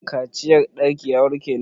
Kaciyar ɗanki ya warke ne?